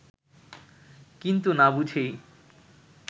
কিন্তু না বুঝেই